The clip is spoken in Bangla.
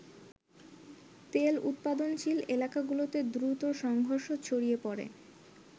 তেল উৎপাদনশীল এলাকাগুলোতে দ্রুত সংঘর্ষ ছড়িয়ে পরে।